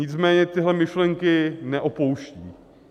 Nicméně tyhle myšlenky neopouští.